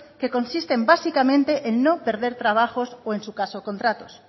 que consisten básicamente en no perder trabajos o en su caso contratos